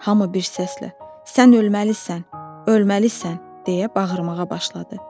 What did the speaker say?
Hamı bir səslə: "Sən ölməlisən, ölməlisən!" deyə bağırmağa başladı.